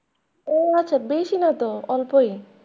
ও আচ্ছা বেশি না তো অল্পই।